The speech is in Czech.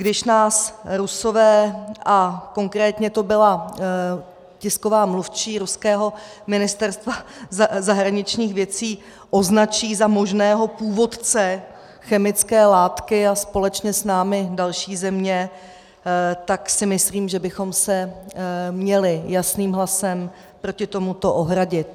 Když nás Rusové, a konkrétně to byla tisková mluvčí ruského Ministerstva zahraničních věcí, označí za možného původce chemické látky a společně s námi další země, tak si myslím, že bychom se měli jasným hlasem proti tomu ohradit.